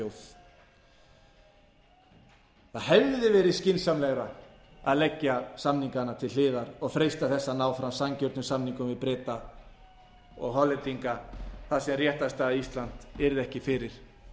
þjóð það hefði verið skynsamlegra að leggja samningana til hliðar og freista þess að ná fram sanngjörnum samningum við breta og hollendinga þar sem réttarstaða íslands yrði ekki fyrir